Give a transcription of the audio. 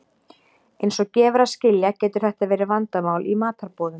Eins og gefur að skilja getur þetta verið vandamál í matarboðum.